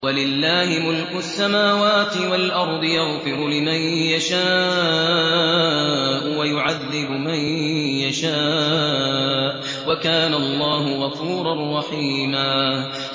وَلِلَّهِ مُلْكُ السَّمَاوَاتِ وَالْأَرْضِ ۚ يَغْفِرُ لِمَن يَشَاءُ وَيُعَذِّبُ مَن يَشَاءُ ۚ وَكَانَ اللَّهُ غَفُورًا رَّحِيمًا